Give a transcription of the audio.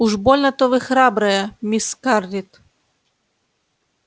уж больно-то вы храбрая мисс скарлетт